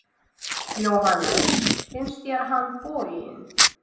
Jóhannes: Finnst þér hann boginn?